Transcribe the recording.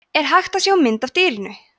er hægt að sjá mynd af dýrinu